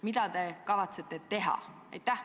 Mida te kavatsete teha?